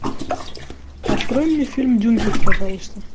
открой мне фильм дюнкерк пожалуйста